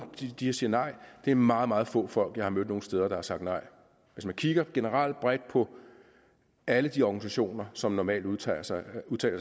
siger nej det er meget meget få folk jeg har mødt nogen steder der har sagt nej hvis man kigger generelt bredt på alle de organisationer som normalt udtaler sig